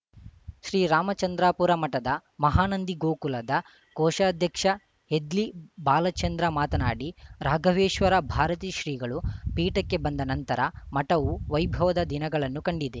ಶ್ರೀರಾಮಚಂದ್ರಾಪುರ ಮಠದ ಮಹಾನಂದಿ ಗೋಕುಲದ ಕೋಶಾಧ್ಯಕ್ಷ ಹೆದ್ಲಿ ಬಾಲಚಂದ್ರ ಮಾತನಾಡಿ ರಾಘವೇಶ್ವರ ಭಾರತೀ ಶ್ರೀಗಳು ಪೀಠಕ್ಕೆ ಬಂದ ನಂತರ ಮಠವು ವೈಭದ ದಿನಗಳನ್ನು ಕಂಡಿದೆ